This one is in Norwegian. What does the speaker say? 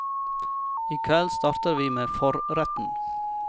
I kveld starter vi med forretten.